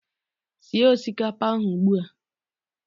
Sie osikapa ahu ugbua!